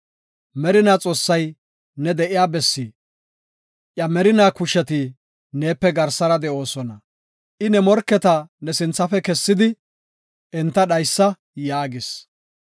Merinaa Xoossay ne de7iya bessi; iya merinaa kusheti neepe garsara de7oosona. I ne morketa ne sinthafe kessidi, ‘enta dhaysa’ yaagis.